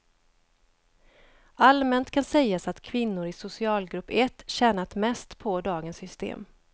Allmänt kan sägas att kvinnor i socialgrupp ett tjänat mest på dagens system.